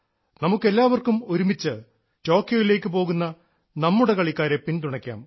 നമുക്ക് എല്ലാവർക്കും ഒരുമിച്ച് ടോക്കിയോയിലേക്കു പോകുന്ന നമ്മുടെ കളിക്കാരെ പിന്തുണയ്ക്കാം